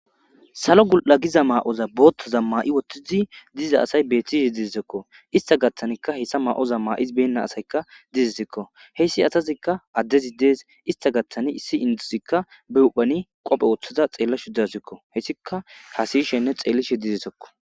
Salo gu7a giza maa7oza boottazam ma7i wothtizi diza asay beethtishe diditekko ista gattanikka heyssa maa7oza ma7iz benna asayka dizisekko heyssi asazikka addezi dees. ista gattani issi induzikka be uphani qophe wooththaza xeellashu dasikko hessika kasishenne xeellishe didesekko.